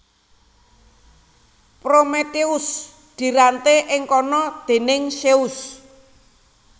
Prometheus diranté ing kana déning Zeus